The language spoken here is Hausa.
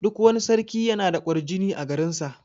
Duk wani sarki yana da ƙwarjini a garin sa.